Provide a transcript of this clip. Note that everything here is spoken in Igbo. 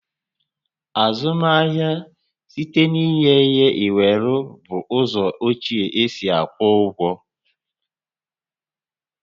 Azụmahịa site n'inye ihe inwere bụ ụzọ ochie e si akwụ ụgwọ